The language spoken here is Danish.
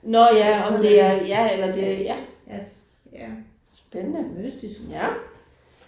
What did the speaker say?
Altså om ja ja. Mystisk